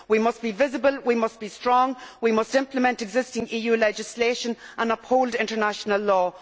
We must be visible, we must be strong, and we must implement existing EU legislation and uphold international law.